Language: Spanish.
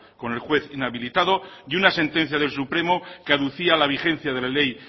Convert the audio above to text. con el juez inhabilitado y una sentencia del supremo que aducía a la vigencia de la ley